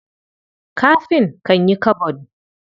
Kafin kan yi kabod.